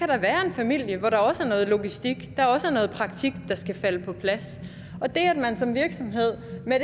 familie hvor der også er noget logistik og noget praktik der skal falde på plads og det at man som virksomhed med